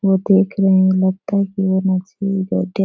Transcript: वो देख रहे है लगता है कि वो बैठे --